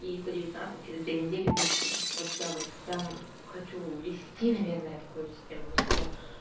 и сто девятнадцать через две недели без скидок вот я вот прям хочу везти наверное такое систему у себя